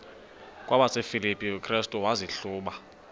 kwabasefilipi restu wazihluba